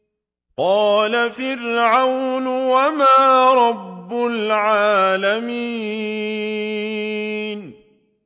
قَالَ فِرْعَوْنُ وَمَا رَبُّ الْعَالَمِينَ